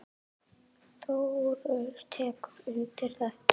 Þórður tekur undir þetta.